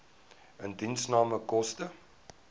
indiensname koste